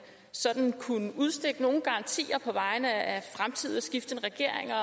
sådan kunne udstikke nogen garantier på vegne af fremtidigt skiftende regeringer